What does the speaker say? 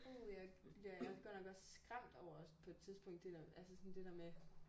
Uh ja jeg jeg er er godt nok også skræmt over på et tidspunkt det der altså sådan det der med